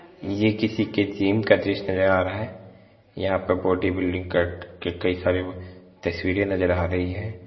ये किसी के जिम का दृश्य नजर आ रहा है यहां पे बॉडी बिल्डिंग के कई सारे तस्वीरे नजर आ रही है।